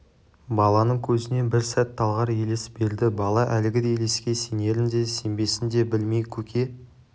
баланың көзіне бір сәт талғар елес берді бала әлгі елеске сенерін де сенбесін де білмей көке